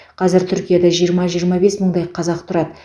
қазір түркияда жиырма жиырма бес мыңдай қазақ тұрады